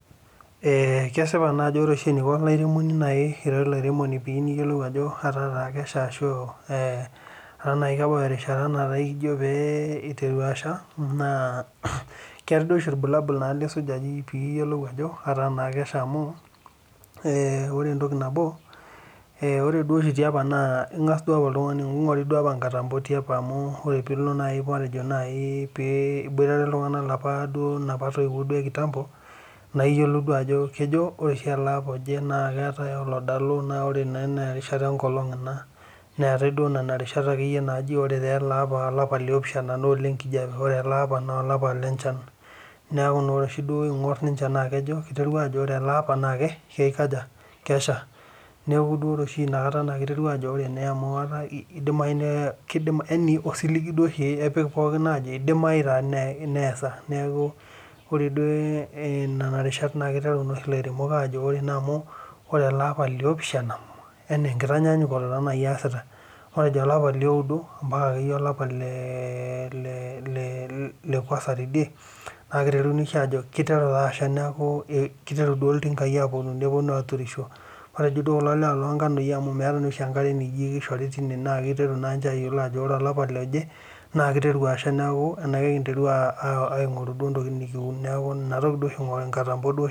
Ee kesipa naa ajo ore eneiko olairemoni naaji, ira olairemoni pee etaa taa kesha ashu, etaa kebau erishata, nijo pee iteru asha naa, keetae oshi ilbulabol lisuj pee iyiolou ajo, etaa naa kesha amu, ore entoki nabo Ore duo oshi tiapa naa ingas duo oltungani .kingoru duo apa nkatampo tiapa amu, pee ilo naaji matejo naaji iboitare, iltunganak apa inapa toiwuo ekitampo. intoiweuo iyiolou ajo ore oshi ele apa oje naa keetae oladalu neetae. naa erishata enkolong' ina. neetae duo Nena rishat akeyie naaji ore taa ele apa liopishana olenkijiape. ore ele apa, naa olapa le nchan. neeku naa ore oshi, duo ing'or ninche naa kiteru ajo ore ele apa na kikaja kesha. neeku ore oshi Ina kata kiteru ajo kidimayu nee. osiligi duo oshi epik pookin aajo idimiayu neesa. neeku ore duo Nena rishat kiteru ilaremok aajo ore ele apa liopishana matejo olapa lioudo mpaka olapa liopishana tidie kiteru iltinkai aapuonu aturisho.